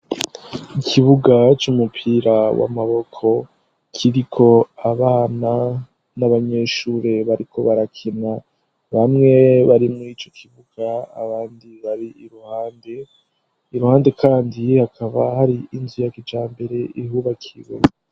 Ikibuga c'umupira w'amaboko, kiriko abana n'abanyeshure bariko barakina. Bamwe bari mu ico kibuga abandi bari iruhande, iruhande kandi hakaba hari inzu ya kijambere ihubakiwe.